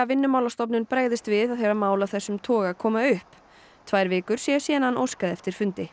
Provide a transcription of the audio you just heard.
Vinnumálastofnun bregðist við þegar mál af þessum toga komi upp tvær vikur séu síðan hann óskaði eftir fundi